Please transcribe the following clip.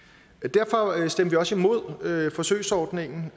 derfor stemte vi også imod forsøgsordningen